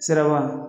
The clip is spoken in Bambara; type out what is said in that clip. Siraba